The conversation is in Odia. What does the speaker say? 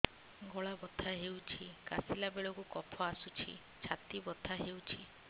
ଗଳା ବଥା ହେଊଛି କାଶିଲା ବେଳକୁ କଫ ଆସୁଛି ଛାତି ବଥା ହେଉଛି